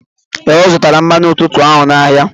Ee, Ọ zụtara mmanụ ntutu ahụ n'ahịa.